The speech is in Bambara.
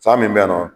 San min bɛ yen nɔ